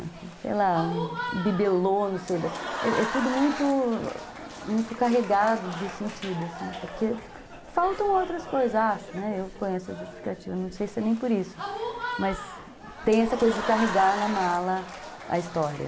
sei lá, um bibelô, não sei, é tudo muito, muito carregado de sentido, assim, porque faltam outras coisas, acho, eu ponho essa justificativa, não sei se é nem por isso, mas tem essa coisa de carregar na mala a história.